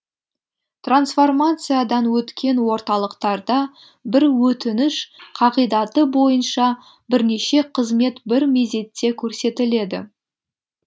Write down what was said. трансформациядан өткен орталықтарда бір өтініш қағидаты бойынша бірнеше қызмет бір мезетте көрсетіледі